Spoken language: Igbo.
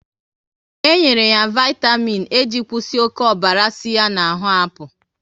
E nyere ya vaitamịn E iji kwụsị oké ọbara si ya na ahụ apụ